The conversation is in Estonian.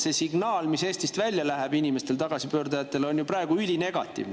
See signaal, mis Eestist läheb välja inimestele, tagasipöördujatele, on ju praegu ülinegatiivne.